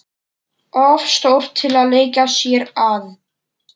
Of stór til að leika sér að.